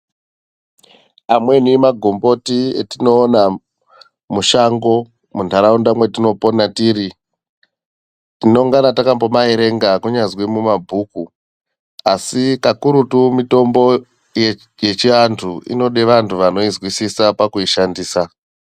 Amweni magomboti etinoona, mushango, muntaraunda mwetinopona tiri, tinongangana takambomaerenga kunyazi mumabhuku, asi kakurutu mitombo yechiantu inode vantu vanoizwozisa pakuishandisa.